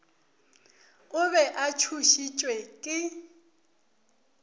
o be a tšhošitšwe ke